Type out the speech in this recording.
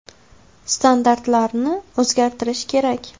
Standartlarni o‘zgartirish kerak.